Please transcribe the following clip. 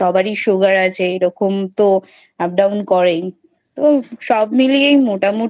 সবারই Sugar আছে এরকম তো Up down করেই তো সব মিলিয়েই মোটামোটি